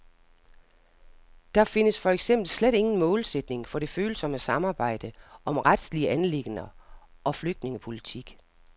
Der findes for eksempel slet ingen målsætning for det følsomme samarbejde om retslige anliggender og flygtningepolitik.